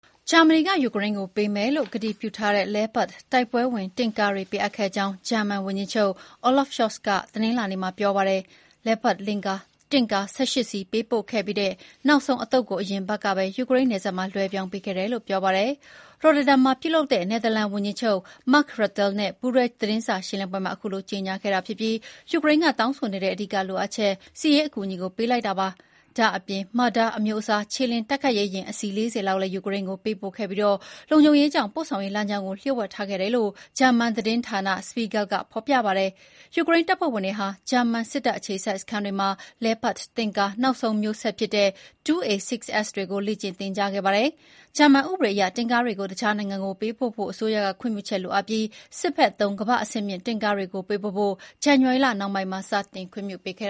ဂျာမနီကယူကရိန်းကို ပေးမယ်လို့ကတိပြုထားတဲ့ Leopard တိုက်ပွဲဝင်တင့်ကားတွေပေးအပ်ခဲ့ကြောင်း ဂျာမန်ဝန်ကြီးချုပ် Olaf Scholz က တနင်္လာနေ့မှာ ပြောပါတယ်။ Leopard တင့်ကား ၁၈ စီး ပေးပို့ခဲ့ပြီး နောက်ဆုံးအသုတ်ကို အရင်အပတ်ကပဲ ယူကရိန်းနယ်စပ်မှာ လွှဲပြောင်းပေးခဲ့တယ်လို့ ဆိုပါတယ်။ Rotterdam မှာပြုလုပ်တဲ့ နယ်သာလန်ဝန်ကြီးချုပ် Mark Rutte နဲ့ ပူးတွဲ သတင်းစာရှင်းလင်းပွဲမှာ အခုလိုကြေညာခဲ့တာဖြစ်ပြီး ယူကရိန်းက တောင်းဆိုနေတဲ့ အဓိကလိုအပ်ချက် စစ်ရေးအကူအညီကို ပေးလိုက်တာ ဖြစ်ပါတယ်။ ဒါ့ပြင် Marder အမျိုးအစား ခြေလျင်တိုက်ခိုက်ရေးယာဉ် အစီးရေ ၄၀ လောက်လည်း ယူကရိန်းကိုပေးပို့ခဲ့ပြီး လုံခြုံရေးကြောင့် ပို့ဆောင်ရေးလမ်းကြောင်းကို လျှို့ဝှက်ထားခဲ့တယ်လို့ ဂျာမန်သတင်းဌာန Spiegel က ဖော်ပြပါတယ်။ ယူကရိန်းတပ်ဖွဲ့ဝင်တွေဟာ ဂျာမန်စစ်တပ်အခြေစိုက်စခန်းတွေမှာ Leopard တင့်ကား နောက်ဆုံးမျိုးဆက်ဖြစ်တဲ့ 2A6s တွေကို လေ့ကျင့်သင်ကြားခဲ့ပါတယ်။ ဂျာမန်ဥပဒေအရ တင့်ကားတွေကို အခြားနိုင်ငံကိုပေးပို့ဖို့က အစိုးရခွင့်ပြုချက်လိုအပ်ပြီး စစ်ဘက်သုံး ကမ္ဘာ့အဆင့်မြင့်တင့်ကားတွေပေးပို့ဖို့ကို ဇန်နဝါရီလနှောင်းပိုင်းမှာ စတင်ခွင့်ပြုပေးခဲ့